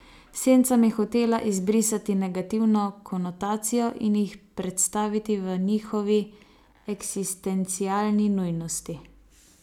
Sencam je hotela izbrisati negativno konotacijo in jih predstaviti v njihovi eksistencialni nujnosti.